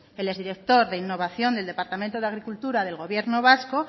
el exdirector de innovación del departamento de agricultura del gobierno vasco